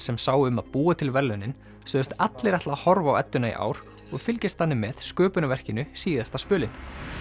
sem sáu um að búa til verðlaunin sögðust allir ætla að horfa á edduna í ár og fylgjast þannig með sköpunarverkinu síðasta spölinn